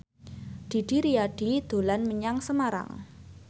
Didi Riyadi dolan menyang Semarang